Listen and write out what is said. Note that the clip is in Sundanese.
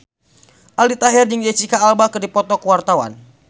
Aldi Taher jeung Jesicca Alba keur dipoto ku wartawan